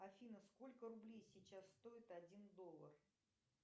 афина сколько рублей сейчас стоит один доллар